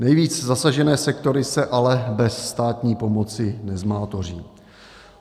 Nejvíc zasažené sektory se ale bez státní pomoci nezmátoří.